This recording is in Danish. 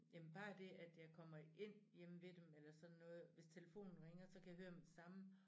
Jamen bare det at jeg kommer ind hjemme ved dem eller sådan noget hvis telefonen ringer så kan jeg høre med det samme